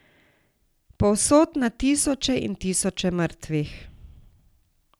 Povsod na tisoče in tisoče mrtvih.